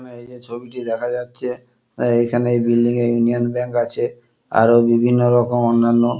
এখানে এইযে ছবিটি দেখা যাচ্ছে এখানে এই বিল্ডিং এ ইউনিয়ন ব্যাঙ্ক আছে। আরো বিভিন্ন রকম অন্যান্য --